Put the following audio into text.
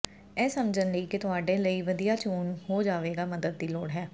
ਇਹ ਸਮਝਣ ਲਈ ਕਿ ਤੁਹਾਡੇ ਲਈ ਵਧੀਆ ਚੋਣ ਹੋ ਜਾਵੇਗਾ ਮਦਦ ਦੀ ਲੋੜ ਹੈ